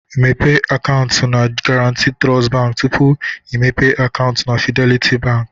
Mepee akaụntụ na Garanti Trust Bank tupu imepe akaụntụ na Fidelity Bank